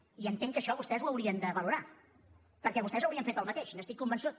i entenc que això vostès ho haurien de valorar perquè vostès haurien fet el mateix n’estic convençut